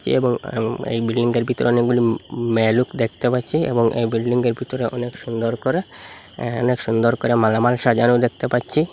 এবং এম এই বিল্ডিং টার ভিতরে অনেকগুলি মেয়ে লোক দেখতে পাচ্ছি এবং এই বিল্ডিং য়ের ভিতরে অনেক সুন্দর করে অ্যা অনেক সুন্দর করে মালামাল সাজানো দেখতে পাচ্ছি।